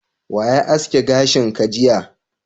Wa ya aske gashin ka jiya?